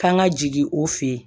K'an ka jigin o fin